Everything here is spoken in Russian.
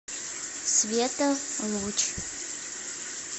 света луч